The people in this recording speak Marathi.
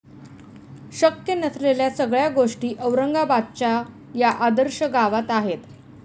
शक्य नसलेल्या सगळ्या गोष्टी औरंगाबादच्या या 'आदर्श' गावात आहेत!